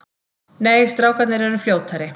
Nei, strákarnir eru fljótari.